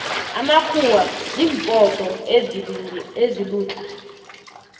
amakhuwana zimpoto ezilulatle